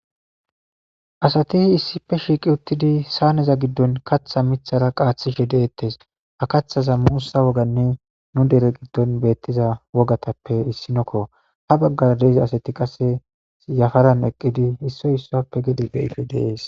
Asati hi issife shiiqi uttidi saaneza giddon katha mithara qaaththishe deettes hakathaza muusa woganne nu dere giddon beettiza wogatappe issinokko habaggara deeza asati qase yafaran eqqidi hissoy issappe gede beyife dees.